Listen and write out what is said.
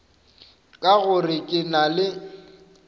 ka gore ke na le